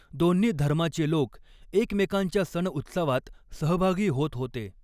दोन्ही धर्माचे लोक एकमेकांच्या सणउत्सवात सहभागी होत होते.